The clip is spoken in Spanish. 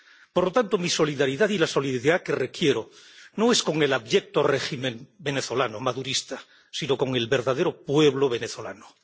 Por lo tanto, mi solidaridad y la solidaridad que requiero no es con el abyecto régimen venezolano madurista sino con el verdadero pueblo venezolano.